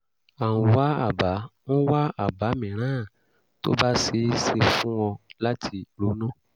a ń wá àbá ń wá àbá mìíràn tó bá ṣeé ṣe fún ọ láti ronú